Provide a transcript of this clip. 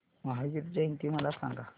महावीर जयंती मला सांगा